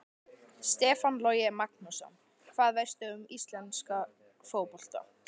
Stefán Logi Magnússon Hvað veistu um íslenska fótbolta?